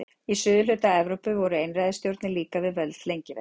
Í suðurhluta Evrópu voru einræðisstjórnir líka við völd lengi vel.